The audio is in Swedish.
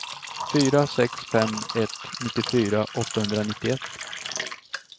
fyra sex fem ett nittiofyra åttahundranittioett